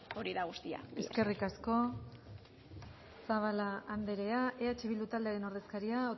hori da guztia eskerrik asko zabala andrea eh bildu taldearen ordezkaria